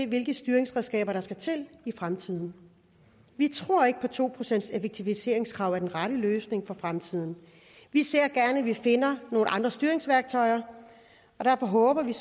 hvilke styringsredskaber der skal til i fremtiden vi tror ikke at et to procentseffektiviseringskrav er den rette løsning for fremtiden vi ser gerne at vi finder nogle andre styringsværktøjer og derfor håber vi